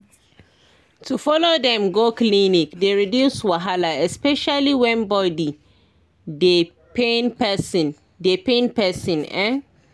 to follow dem go clinic dey reduce wahala especially when body dey pain person dey pain person en